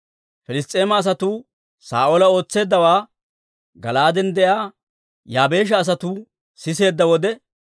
Piliss's'eema asatuu Saa'oola ootseeddawaa Gala'aaden de'iyaa Yaabeesha asatuu siseedda wode,